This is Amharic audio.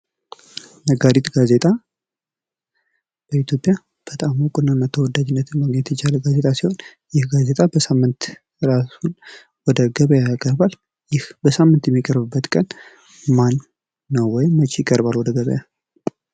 ነጋሪት ጋዜጣ በኢትዮጵያ በታም እውቅናና ተወዳጅነትን ማግኘት የቻለ ጋዜጣ ሲሆን ይህ ጋዜጣ በየሳምንቱ ራሱን ለገበያ ያቀርባል ይህ በሳምንት የሚቀርብበት ቀን ማነው ወይም መች ይቀርባል ወደገበያ?